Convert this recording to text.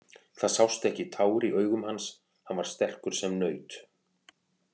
Það sást ekki tár í augum hans, hann var sterkur sem naut.